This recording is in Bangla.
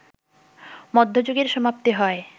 মধ্যযুগের সমাপ্তি হয়